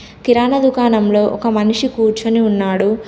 కిరాణా దుకాణంలో ఒక మనిషి కూర్చొని ఉన్నాడు.